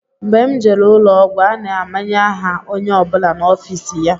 Mgbe m jere ụlọọgwụ, a na-amanye aha onye ọ bụla n'ofiisi ya